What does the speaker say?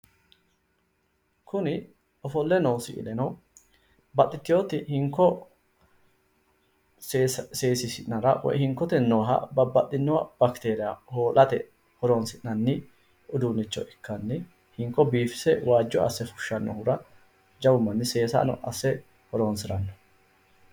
Kuni ofolle noo siileno babbaxxitewoti hinko seesiisi'nara babbaxxewo backeria hoo'late horonsi'nanni uduunnicho ikkanni hinko biifise waajjo assannohura jawu manni seesano asse horonsiranno.